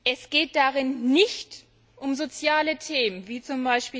Es geht darin nicht um soziale Themen wie z.